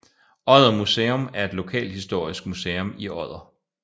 Odder Museum er et lokalhistorisk museum i Odder